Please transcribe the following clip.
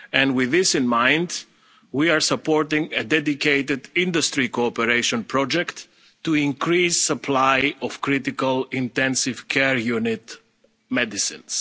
supply side. With this in mind, we are supporting a dedicated industry cooperation project to increase the supply of critical intensive care unit